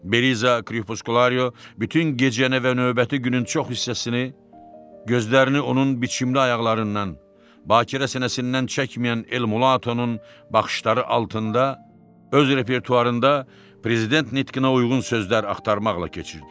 Beliza Kripuskulario bütün gecəni və növbəti günün çox hissəsini, gözlərini onun biçimli ayaqlarından, Bakirə sinəsindən çəkməyən El Mulatonun baxışları altında öz repertuarında prezident nitqinə uyğun sözlər axtarmaqla keçirdi.